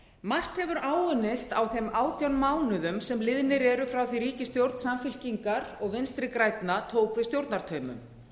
margt hefur áunnist á þeim átján mánuðum sem liðnir eru frá því ríkisstjórn samfylkingar og vinstri grænna tók við stjórnartaumum